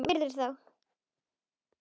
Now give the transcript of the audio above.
Virðir þá.